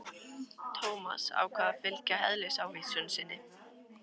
Thomas ákvað að fylgja eðlisávísun sinni.